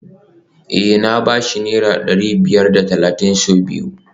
Eh na ba shi naira dari biyar da talatin sau biyu